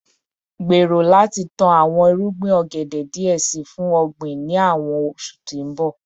Gbero lati tan awọn irugbin ogede diẹ sii fun ogbin ni awọn oṣu ti n bọ